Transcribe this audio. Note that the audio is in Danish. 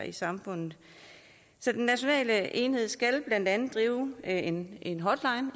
i samfundet så den nationale enhed skal blandt andet drive en en hotline